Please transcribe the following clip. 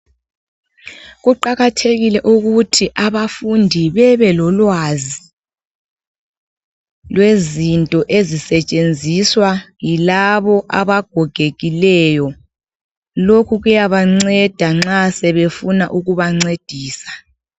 Kuqakathekile ukuthi abafundi bebelolwazi, lwezinto ezisetshenziswa yilabo abagogekileyo. Lokhu kuyabanceda nxa sebefuna ukubancedisa.